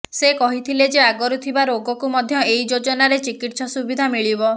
ସେ କହିଥିଲେ ଯେ ଆଗରୁ ଥିବା ରୋଗକୁ ମଧ୍ୟ ଏହି ଯୋଜନାରେ ଚିକିତ୍ସା ସୁବିଧା ମିଳିବ